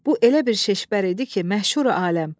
Bu elə bir şişbər idi ki, məşhuri aləm.